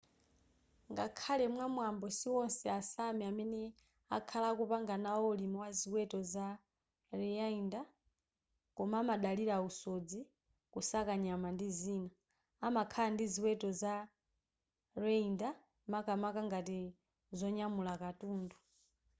ngakhale mwamwambo siwonse a sámi amene akhala akupanga nawo ulimi wa ziweto za reindeer koma amadalira usodzi kusaka nyama ndi zina amakhala ndi ziweto za reindeer makamaka ngati zonyamula katundu